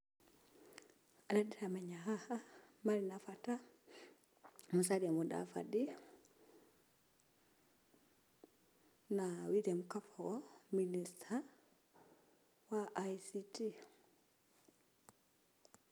Arĩa ndĩramenya haha marĩ na bata nĩ Musalia Mudavadi na William Kabogo minister wa I.C.T.